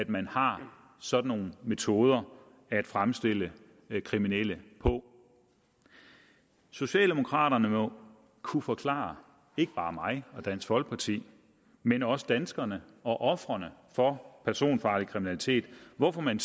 man har sådan nogle metoder at fremstille kriminelle på socialdemokraterne må kunne forklare ikke bare mig og dansk folkeparti men også danskerne og ofrene for personfarlig kriminalitet hvorfor man